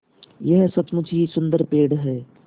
यह सचमुच ही सुन्दर पेड़ है